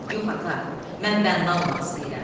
Yox ata, mən bənna olmaq istəyirəm.